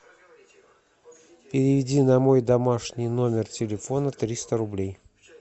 переведи на мой домашний номер телефона триста рублей